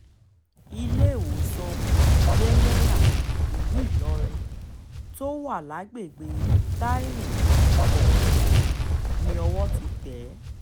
iléewòsàn jẹ́nẹ́ra ìlú ìlọrin tó wà lágbègbè taiwo-òkè ni owó ti tẹ̀ é